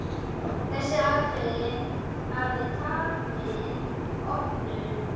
Þessi atriði hafi tafið opnun.